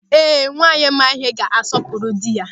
Ee, nwaanyị ma ịhe ga-asọpụrụ dị ya.